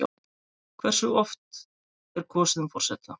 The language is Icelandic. Hversu oft er kosið um forseta?